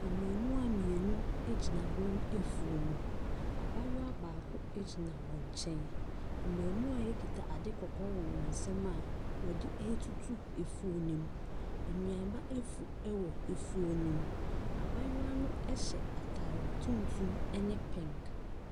Mmaamua mmienu gyina wɔn afuo mu, abaayewa baako gyina wɔn nkyɛn. Mmaamua yi kita adeɛ kɔkɔɔ wɔ wɔn nsamu a wɔde retutututu famu, nnuaba nso wɔ afuo ne mu. Abaayewa no hyɛ ataare tuntum ne pink.